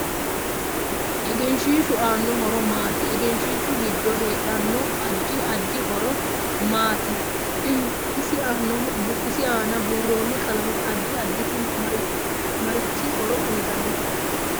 Egenshiishu aanno horo maati egenshiishu giddo heedhanno addi addi horo maati isi aana buurooni qalame addi additi marichi horo uyiitanno